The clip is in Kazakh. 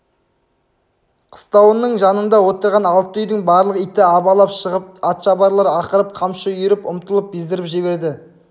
қыстауының жанында отырған алты үйдің барлық иті абалап шығып еді атшабарлар ақырып қамшы үйіріп ұмтылып бездіріп жіберді